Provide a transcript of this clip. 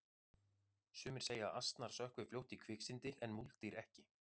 sumir segja að asnar sökkvi fljótt í kviksyndi en múldýr ekki